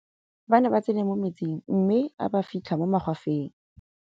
ba ne ba tsene mo metsing mme a ba fitlha mo magwafeng